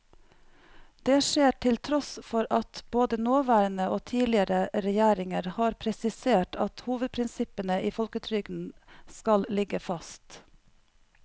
Det skjer til tross for at både nåværende og tidligere regjeringer har presisert at hovedprinsippene i folketrygden skal ligge fast.